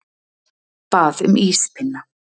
Bað um íspinna.